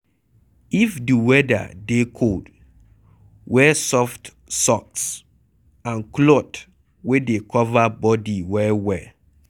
If di weather dey cold, wear soft socks and cloth wey dey cover bodi well well